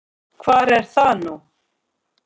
Hvar er það nú?